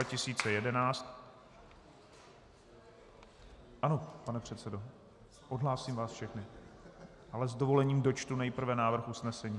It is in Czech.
Ano, pane předsedo, odhlásím vás všechny, ale s dovolením dočtu nejprve návrh usnesení.